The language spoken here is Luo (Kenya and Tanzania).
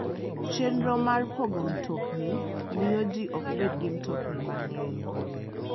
Chenro mar pogo mtokni miyo ji ok bed gi mtokni mang'eny.